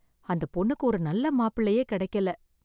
அந்த பொண்ணுக்கு ஒரு நல்ல மாப்பிள்ளையே கிடைக்கல.